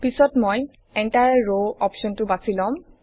পিছত মই এন্টায়াৰ ৰ অপশ্বনটো বাছি লম